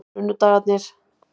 sunnudagarnir